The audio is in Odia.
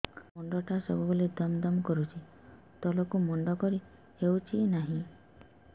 ସାର ମୁଣ୍ଡ ଟା ସବୁ ବେଳେ ଦମ ଦମ କରୁଛି ତଳକୁ ମୁଣ୍ଡ କରି ହେଉଛି ନାହିଁ